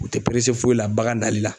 U tɛ perese foyi la bagan nali la.